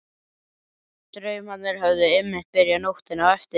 Draumarnir höfðu einmitt byrjað nóttina eftir.